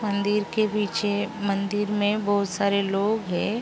मंदिर के पीछे मंदिर में बहुत सारे लोग हैं।